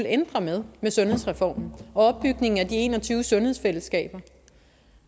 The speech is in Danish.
at ændre med sundhedsreformen og opbygningen af de en og tyve sundhedsfællesskaber